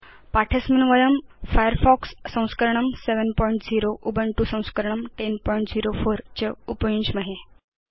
पाठे अस्मिन् वयं फायरफॉक्स संस्करणं 70 उबुन्तु संस्करणं 1004 च उपयुञ्ज्महे